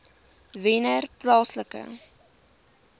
wennerplaaslike